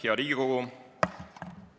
Hea Riigikogu!